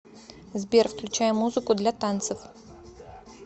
сбер включай музыку для танцев